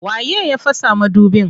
Waye ya fasa madubin?